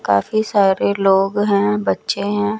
काफ़ी सारे लोग है बच्चे है।